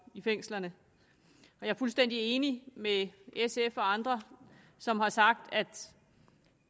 i fængslerne jeg er fuldstændig enig med sf og andre som har sagt at